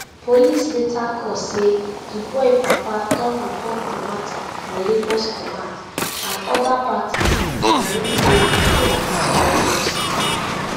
police later call say di boy papa don report di mata for lagos command and oda parties go need dey involved for di autopsy